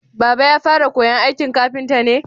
Baba ya fara koyan aikin kafinta ne?